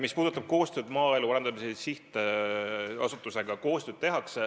Mis puudutab koostööd Maaelu Arendamise Sihtasutusega, siis koostööd tehakse.